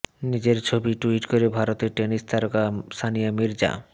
নিজের ছবি টুইট করে ভারতের টেনিস তারকা সানিয়া মির্জা